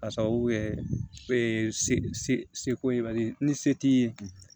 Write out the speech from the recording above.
K'a sababu kɛ seko ye bari ni se t'i ye